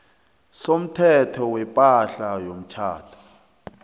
somthetho wepahla yomtjhado